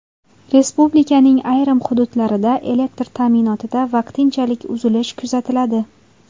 Respublikaning ayrim hududlarida elektr ta’minotida vaqtinchalik uzilish kuzatiladi.